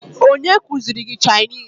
Onye kụziri gị Chinịse?